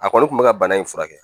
A kɔni kun bɛ ka bana in furakɛ